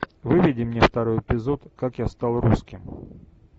выведи мне второй эпизод как я стал русским